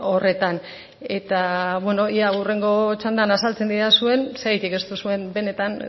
horretan ea hurrengo txandan azaltzen didazuen zergatik ez duzuen benetan